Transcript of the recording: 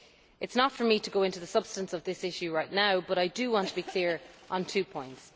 It is not for me to go into the substance of this issue right now, but I do want to be clear on two points.